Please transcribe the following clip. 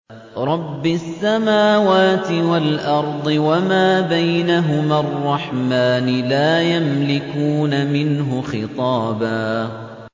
رَّبِّ السَّمَاوَاتِ وَالْأَرْضِ وَمَا بَيْنَهُمَا الرَّحْمَٰنِ ۖ لَا يَمْلِكُونَ مِنْهُ خِطَابًا